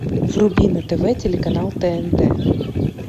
вруби на тв телеканал тнт